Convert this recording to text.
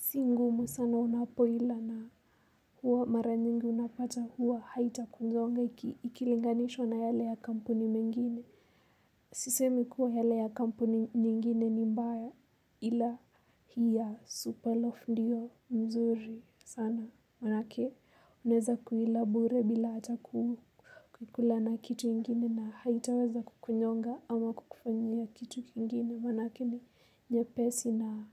si ngumu sana unapoila na huwa mara nyingi unapata huwa haita kunzonga ikilinganishwa na yale ya kampuni mengine. Sisemi kuwa yale ya kampuni nyingine ni mbaya ila hii ya Superlove ndiyo nzuri sana. Maanake unaweza kuila bure bila hata kukula na kitu ingine na haitaweza kukunyonga ama kukufanyia kitu kingine maanake ni nyepesi na.